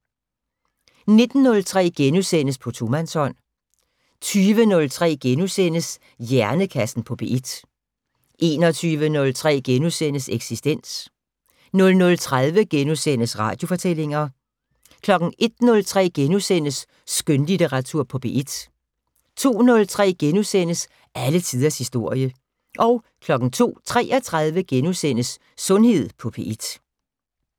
19:03: På tomandshånd * 20:03: Hjernekassen på P1 * 21:03: Eksistens * 00:30: Radiofortællinger * 01:03: Skønlitteratur på P1 * 02:03: Alle tiders historie * 02:33: Sundhed på P1 *